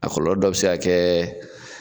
A kɔlɔlɔ dɔ bɛ se ka kɛ